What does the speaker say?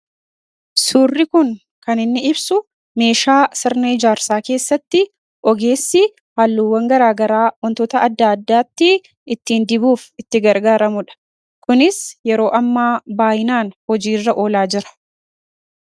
suurri kun kan inni ibsu meeshaa sirnee jaarsaa keessatti ogeessi haalluuwwan garaagaraa ontota adda addaatti ittiin dibuuf itti gargaaramudha kunis yeroo amma baayinaan hojii irra olaa jira